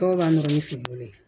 Dɔw b'a nɔrɔ ni finiko ye